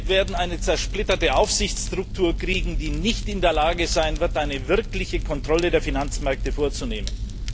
Wir werden eine zersplitterte Aufsichtsstruktur kriegen, die nicht in der Lage sein wird, eine wirkliche Kontrolle der Finanzmärkte vorzunehmen.